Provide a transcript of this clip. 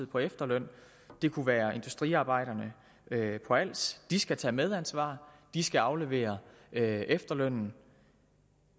på efterløn det kunne være industriarbejderne på als de skal tage medansvar og de skal aflevere efterlønnen